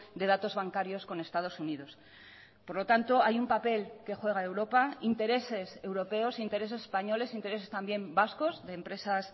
de datos bancarios con estados unidos por lo tanto hay un papel que juega europa intereses europeos intereses españoles intereses también vascos de empresas